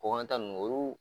Kɔkan ta nunnu o y'u